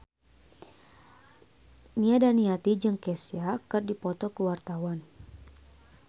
Nia Daniati jeung Kesha keur dipoto ku wartawan